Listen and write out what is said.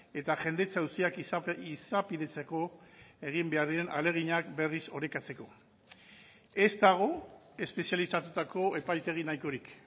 eta jendetza auziak izapidetzeko egin behar diren ahaleginak berriz orekatzeko ez dago espezializatutako epaitegi nahikorik